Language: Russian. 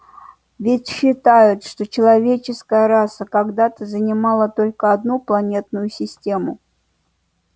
ведь считают что человеческая раса когда-то занимала только одну планетную систему